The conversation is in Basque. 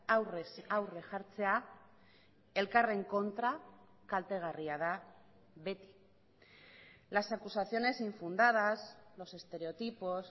aurrez aurre jartzea elkarren kontra kaltegarria da beti las acusaciones infundadas los estereotipos